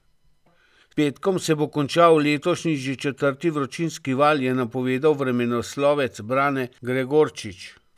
S petkom se bo končal letošnji že četrti vročinski val, je napovedal vremenoslovec Brane Gregorčič.